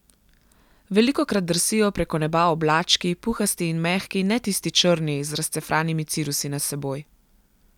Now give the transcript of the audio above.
Velikokrat drsijo preko neba oblački, puhasti in mehki, ne tisti črni, z razcefranimi cirusi nad seboj.